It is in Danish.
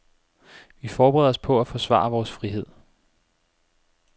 Vi forbereder os på at forsvare vores frihed.